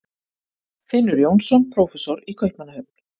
Finnur Jónsson, prófessor í Kaupmannahöfn.